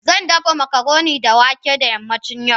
Zan dafa macaroni da wake da yammacin yau